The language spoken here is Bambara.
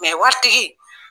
waritigi